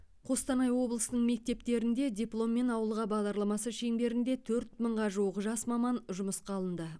қостанай облысының мектептеріне дипломмен ауылға бағдарламасы шеңберінде төрт мыңға жуық жас маман жұмысқа алынды